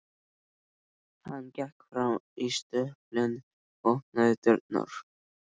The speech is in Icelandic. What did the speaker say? Hann gekk fram í stöpulinn og opnaði dyrnar.